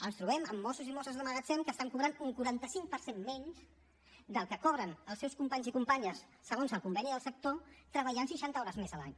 ens trobem amb mossos i mosses de magatzem que estan cobrant un quaranta cinc per cent menys del que cobren els seus companys i companyes segons el conveni del sector treballant seixanta hores més l’any